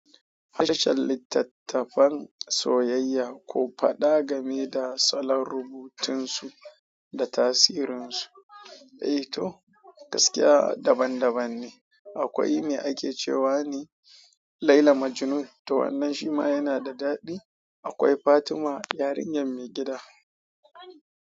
Harshen littattafan soyayya ku faɗa game da salon rubutunsu da tasirinsu, eh to gaskiya daban-daban ne. Akwai me ake cewa ne "Laila Majnun" to wannan shi ma yana da daɗi. Akwai "Fatima yarinyar mai gida".